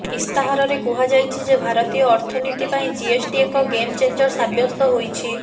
ଇସ୍ତାହାରରେ କୁହାଯାଇଛି ଯେ ଭାରତୀୟ ଅର୍ଥନୀତି ପାଇଁ ଜିଏସ୍ଟି ଏକ ଗେମ୍ ଚେଞ୍ଜର ସାବ୍ୟସ୍ତ ହୋଇଛି